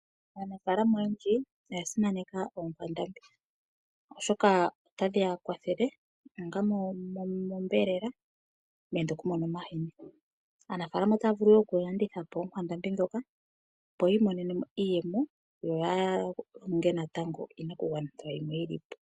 Aanafalama oyendji oya simaneka oonkwandambi, oshoka otadhi ya kwathele onga monyama nenge oku mona omahini. Aanafalama ota vulu wo oku landitha po oonkwandambi dhoka opo yi imonene mo iiyemo yoya longe natango iinakugwanithwa yimwe yili po.